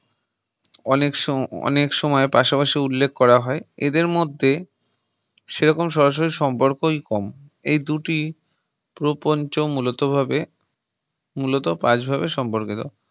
অনেক সোসময় পাশাপাশি উল্লেখ করা হয়, এদের মধ্যে সেরকম সরাসরি সম্পর্কই কম এই দুটি প্রোপঞ্চ মূলত ভাবে মূলত পাশ ভাবে সম্পর্কিত